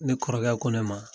Ne kɔrɔkɛ ko ne ma